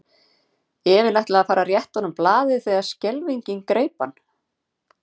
Emil ætlaði að fara að rétta honum blaðið þegar skelfingin greip hann.